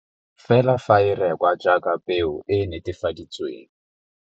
Fela fa e rekwa jaaka peo e e netefaditsweng.